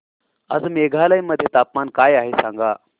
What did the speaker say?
आज मेघालय मध्ये तापमान काय आहे सांगा